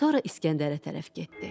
Sonra İskəndərə tərəf getdi.